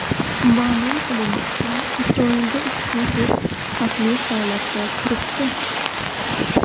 Ma’lum qilinishicha, Isroilda ushbu tur xavfli holatda turibdi.